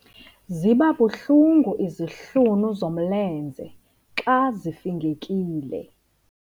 Ziba buhlungu izihlunu zomlenze xa zifingekile.